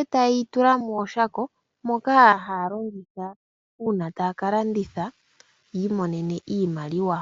e ta ye yi tula mooshako ndhoka ha ya longitha uuna ta ya ka landitha yi imonene iimaliwa.